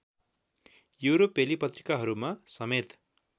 युरोपेली पत्रिकाहरूमा समेत